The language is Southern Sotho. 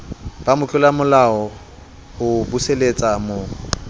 ba motlolamolao ho buseletsa mo